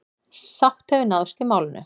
Sátt hefur náðst í málinu.